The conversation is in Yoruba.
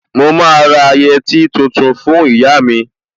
Mo máa ra yẹtí tuntun fún ìyá mi